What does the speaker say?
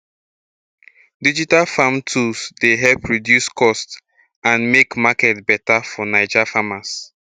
digital farm tools dey help reduce cost and make market beta for naija farmers